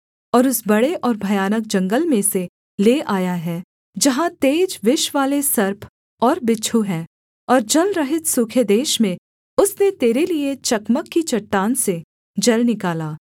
और उस बड़े और भयानक जंगल में से ले आया है जहाँ तेज विषवाले सर्प और बिच्छू हैं और जलरहित सूखे देश में उसने तेरे लिये चकमक की चट्टान से जल निकाला